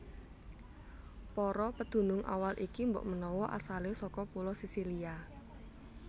Para pedunung awal iki mbokmenawa asalé saka pulo Sisilia